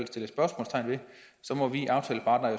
stille spørgsmålstegn ved må vi aftaleparter